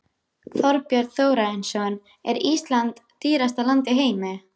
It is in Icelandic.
Þorbjörn Þórðarson: Er Ísland dýrasta land í heimi?